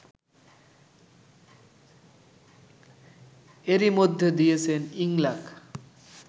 এরই মধ্যে দিয়েছেন ইংলাক